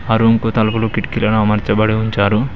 ఆ రూమ్ కు తలపులు కిటికీలను అమార్చబడి ఉంచారు.